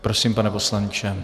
Prosím, pane poslanče.